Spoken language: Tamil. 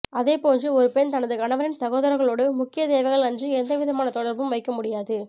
அதே போன்று ஒரு பெண் தனது கணவனின் சகோதரர்களோடு முக்கிய தேவைகள் அன்றி எந்த விதமான தொடர்பும் வைக்க முடியாது